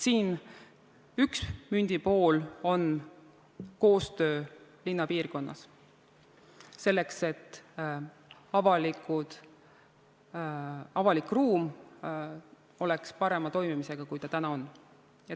Mündi üks pool on koostöö linnapiirkonnas, selleks et avalik ruum toimiks paremini kui täna.